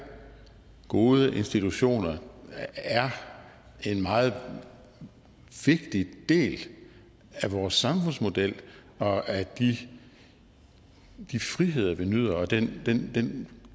gode institutioner er en meget vigtig del af vores samfundsmodel og af de friheder vi nyder og den den